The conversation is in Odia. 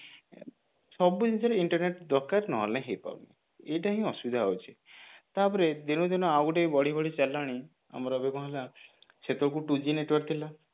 ସବୁ ଜିନିଷରେ internet ଦରକାର ନହେଲେ ହେଇ ପାରୁନି ଏଇଟା ହିଁ ଅସୁବିଧା ହଉଛି ତାପରେ ଦିନ କୁ ଦିନ ଆଉ ଗୋଟେ ବି ବଢି ବଢି ଚାଲିଲାଣି ଆମର ଯୋଉ କଣ ହେଲା ସେତେବେଳକୁ two G network ଥିଲା